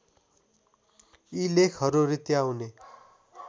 यी लेखहरू रित्ताउने